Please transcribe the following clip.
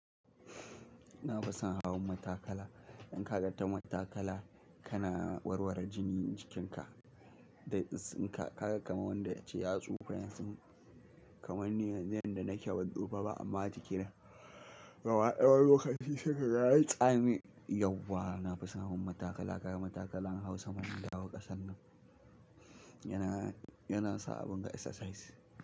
Na fi san hawan matakala. In ka ga ta matakala ka na warware jinin cikinka, da tsinka ka ga kamar wanda ya ci yatsu furen tsin kamar ni yanzu yanda nake ban tufa ba amma jikina gaba daya wani lokaci sai ka ga ya yi tsami. Yau wa na fi san hawan matakala, ka ga matakala an hau saman gida wa kasar nan. Ya na, ya na sa abin ga exercise.